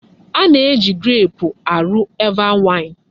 Ana-eji greepụ arụ Eva waịn.